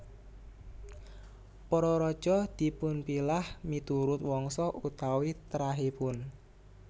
Para raja dipunpilah miturut wangsa utawi trahipun